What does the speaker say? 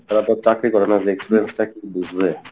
তারা তো আর চাকরি করে না যে experience টা কী বুঝবে,